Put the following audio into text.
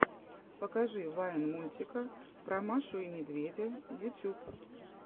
покажи вайн мультика про машу и медведя ютьюб